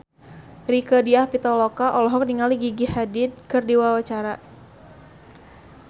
Rieke Diah Pitaloka olohok ningali Gigi Hadid keur diwawancara